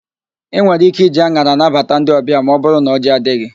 Ị nwere íké iji an̄ara nabata ndị ọbịa ma ọbụrụ na ọjị adịghị.